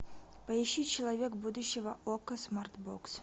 поищи человек будущего окко смарт бокс